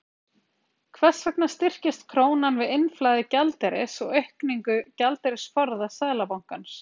Hvers vegna styrkist krónan við innflæði gjaldeyris og aukningu gjaldeyrisforða Seðlabankans?